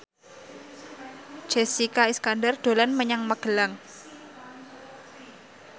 Jessica Iskandar dolan menyang Magelang